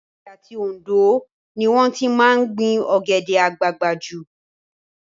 Èkìtì àti Òndó ni wọ́n ti máa ń gbin Ọ̀gẹ̀dẹ̀ àgbagbà jù